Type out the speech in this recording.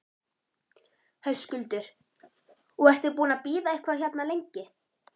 Höskuldur: Og ertu búinn að bíða eitthvað hérna lengi?